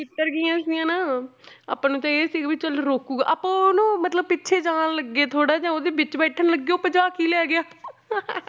ਉਤਰ ਗਈਆਂ ਸੀ ਹਨਾ ਆਪਾਂ ਨੂੰ ਤਾਂ ਇਹ ਸੀਗਾ ਵੀ ਚੱਲ ਰੋਕੇਗਾ, ਆਪਾਂ ਉਹ ਨਾ ਮਤਲਬ ਪਿੱਛੇ ਜਾਣ ਲੱਗੇ ਥੋੜ੍ਹਾ ਜਿਹਾ ਉਹਦੇ ਵਿੱਚ ਬੈਠਣ ਲੱਗੇ ਉਹ ਭਜਾ ਕੇ ਲੈ ਗਿਆ